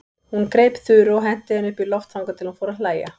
Hún greip Þuru og henti henni upp í loft þangað til hún fór að hlæja.